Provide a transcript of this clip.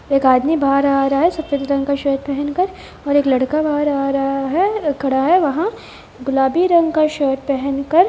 एक आदमी बाहर आ रहा है सफ़ेद रंग का शर्ट पहन कर और एक लड़का बाहर आ रहा है एक खड़ा है वहां गुलाबी रंग का शर्ट पहन कर--